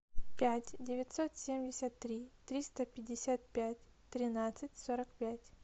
пять девятьсот семьдесят три триста пятьдесят пять тринадцать сорок пять